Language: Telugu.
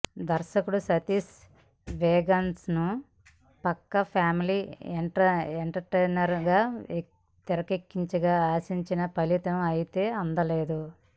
దర్శకుడు సతీష్ వేగేశ్న పక్కా ఫ్యామిలీ ఎంటర్టైనర్ గా తెరకెక్కించగా ఆశించిన ఫలితం అయితే అందలేదు